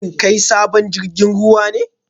Shin kai sabon jirgin ruwa ne?